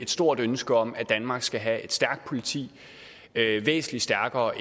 stort ønske om at danmark skal have et stærkt politi væsentlig stærkere